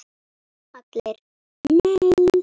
ALLIR: Nei!